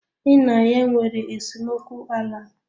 Ị na ya nwere esemokwu ala?